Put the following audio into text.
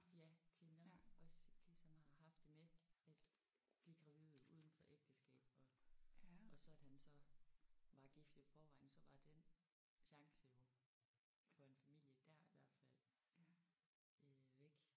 Ja kvinder også ligesom har haft det med at blive gravide udenfor ægteskab og så at han så var gift i forvejen så var den chance jo for en familie der i hvert fald øh væk